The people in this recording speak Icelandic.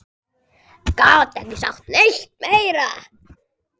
Gat ekki sagt neitt meira.